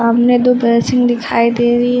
सामने दो बेसिन दिखाई दे रही --